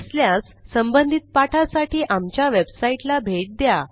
नसल्यास संबंधित पाठासाठी आमच्या वेबसाईटला भेट द्या